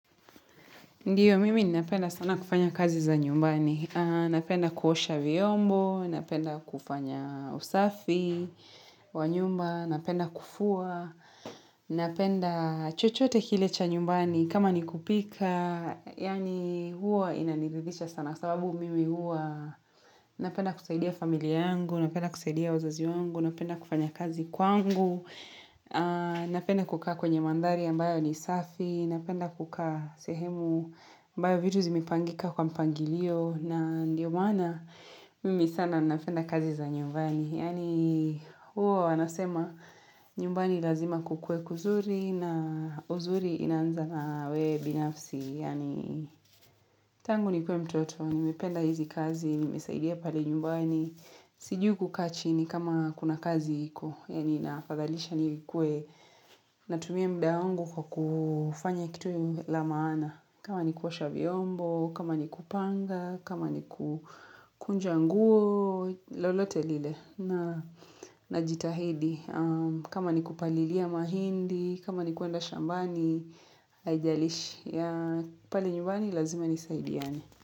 Ndiyo, mimi napenda sana kufanya kazi za nyumbani. Napenda kuhosha vyombo, napenda kufanya usafi wa nyumba, napenda kufua, napenda chochote kile cha nyumbani. Kama ni kupika, yani huwa inaniridhidha sana, kwa sababu mimi huwa. Napenda kusaidia familia yangu, napenda kusaidia wazazi yangu, napenda kufanya kazi kwangu. Napenda kukaa kwenye mandhari ambayo ni safi. Napenda kukaa sehemu ambayo vitu zimepangika kwa mpangilio na ndiyo maana mimi sana napenda kazi za nyumbani. Yani huwa wanasema nyumbani lazima kukue kuzuri na uzuri inanza na wewe binafsi. Yani tangu nikuwe mtoto, nimependa hizi kazi, nimesaidia pale nyumbani. Sijui kukaa chini kama kuna kazi hiko yani nafadhalisha nikuwe na tumia mda wangu kwa kufanya kitu la maana. Kama ni kuosha vyombo, kama ni kupanga, kama ni kukunja nguo, lolote lile na jitahidi. Kama ni kupalilia mahindi, kama ni kuenda shambani, haijalishi. Pale nyumbani lazima nisaidiani.